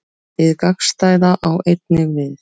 Hið gagnstæða á einnig við.